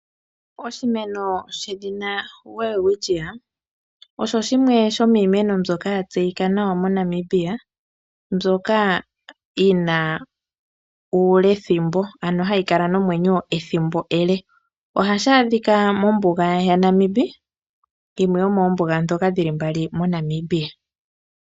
Oshimeno shedhina welwitchia osho shimwe sho miimeno mbyoka ya tseyika nawa moNamibia mbyoka yina uulthimbo ano hayi kala nomwenyo ethimbo ele. Ohashi adhika mombuga yaNamibi yimwe yomombuga ndhoka dhili mbali moNamibia.